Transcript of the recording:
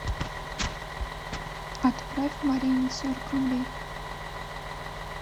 отправь марине сорок рублей